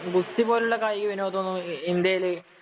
ഗുസ്തി പോലുള്ള കായിക വിനോദം എന്ന് പറയുനത് ഇന്ത്യയില്